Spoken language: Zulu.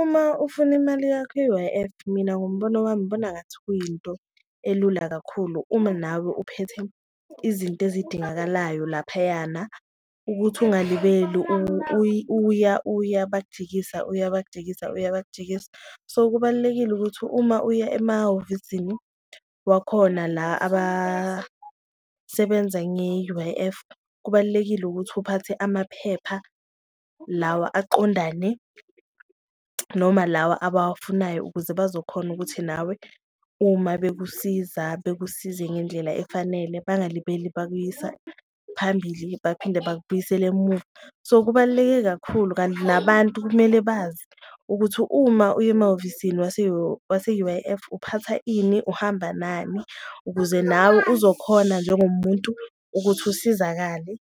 Uma ufuna imali yakho ye-U_I_F mina ngombono wami ngibona ngathi kuyinto elula kakhulu uma nawe uphethe izinto ezidingakalayo laphayana, ukuthi ungalibeli uya uya bakujikisa, uya bakujikisa, uya bakujikisa. So, kubalulekile ukuthi uma uya emahhovisini wakhona la abasebenza nge-U_I_F kubalulekile ukuthi uphathe amaphepha lawa aqondane noma lawa abawafunayo. Ukuze bazokhona ukuthi nawe uma bekusiza, bekusize ngendlela efanele bangalibeli bakuyisa phambili baphinde bakubuyisele emuva, so kubaluleke kakhulu. Kanti nabantu kumele bazi ukuthi uma uye emahhovisini wase-U_I_F uphatha ini uhamba nani, ukuze nawe uzokhona njengomuntu ukuthi usizakale,